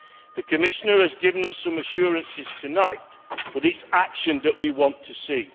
The Commissioner has given us some assurances tonight, but it is action that we want to see.